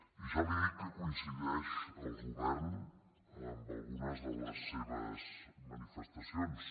i jo li dic que coincideix el govern amb algunes de les seves manifestacions